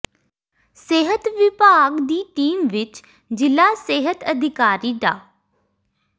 ਸਿਹਤ ਵਿਭਾਗ ਦੀ ਟੀਮ ਵਿੱਚ ਜ਼ਿਲ੍ਹਾ ਸਿਹਤ ਅਧਿਕਾਰੀ ਡਾ